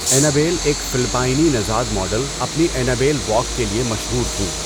اینا بیل، ایک فلپائنی نژاد ماڈل اپنی 'اینا بیل واک' کے لیے مشہور تھیں۔